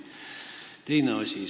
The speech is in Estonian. Teine asi.